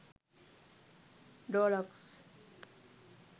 door locks